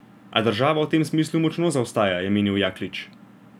A država v tem smislu močno zaostaja, je menil Jaklič.